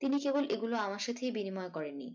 তিনি কেবল এগুলো আমার সাথেই বিনিময় করেননি